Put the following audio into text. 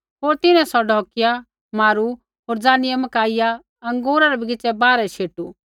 होर तिन्हैं सौ ढौकिया मारू होर ज़ानियै मकाइया अँगूरा रै बगीच़ै बाहरै शेटू